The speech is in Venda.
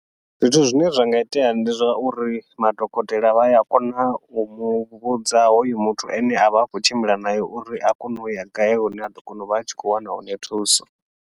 Zwithu zwine zwa nga itea ndi zwa uri, madokotela vha ya kona u muvhudza hoyu muthu ane avha a khou tshimbila naye uri a kone uya gai hune aḓo kona uvha a tshi khou wana hone thuso.